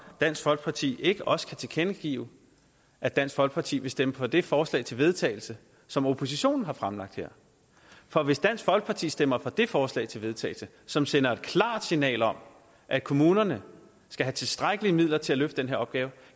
dansk folkeparti ikke også kan tilkendegive at dansk folkeparti vil stemme for det forslag til vedtagelse som oppositionen har fremlagt her for hvis dansk folkeparti stemmer for det forslag til vedtagelse som sender et klart signal om at kommunerne skal have tilstrækkelige midler til at løfte den opgave